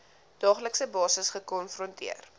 daaglikse basis gekonfronteer